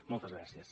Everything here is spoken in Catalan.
moltes gràcies